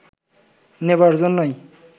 নেবার জন্যই